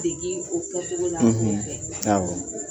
Degi o kɛ cogo la an kɛrɛfɛ awɔ